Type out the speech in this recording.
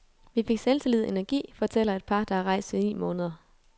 Vi fik selvtillid og energi, fortæller et par, der har rejst i ni måneder.